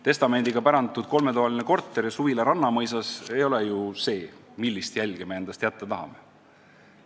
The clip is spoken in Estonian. Testamendiga pärandatud kolmetoaline korter ja suvila Rannamõisas ei ole ju see, millist jälge me endast jätta tahame.